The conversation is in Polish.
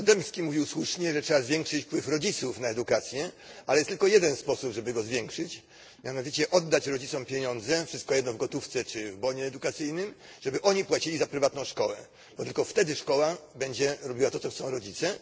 Krasnodębski mówił słusznie, że trzeba zwiększyć wpływ rodziców na edukację. Ale jest tylko jeden sposób, żeby go zwiększyć, mianowicie oddać rodzicom pieniądze wszystko jedno w gotówce czy w bonie edukacyjnym po to, aby oni płacili za prywatną szkołę, bo tylko wtedy szkoła będzie robiła to, czego chcą rodzice.